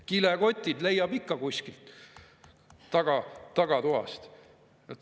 Kilekotid leiab ikka kuskilt tagatoast.